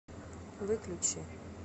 выключи